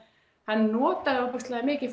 hann notaði ofboðslega mikið